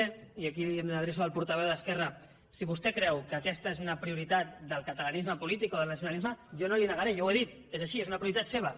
i aquí diguemne m’adreço al portaveu d’esquerra si vostè creu que aquesta és una prioritat del catalanisme polític o del nacionalisme jo no li ho negaré jo ho he dit és així és una prioritat seva